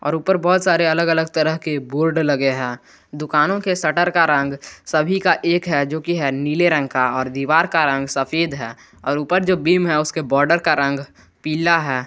ऊपर बहुत सारे अलग अलग तरीके के बोर्ड लगे हैं दुकानों के शटर का रंग सभी का एक है जो कि नीले रंग का और दीवार का रंग सफेद है और ऊपर जो बीम है उसके बॉडर का रंग पिला है।